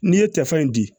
N'i ye tɛfan in di